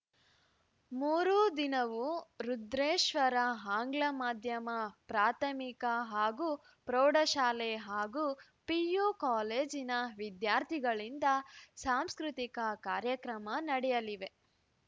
ಮೂರೂ ದಿನವೂ ರುದ್ರೇಶ್ವರ ಆಂಗ್ಲ ಮಾಧ್ಯಮ ಪ್ರಾಥಮಿಕ ಹಾಗೂ ಪ್ರೌಢಶಾಲೆ ಹಾಗೂ ಪಿಯು ಕಾಲೇಜಿನ ವಿದ್ಯಾರ್ಥಿಗಳಿಂದ ಸಾಂಸ್ಕೃತಿಕ ಕಾರ್ಯಕ್ರಮ ನಡೆಯಲಿವೆ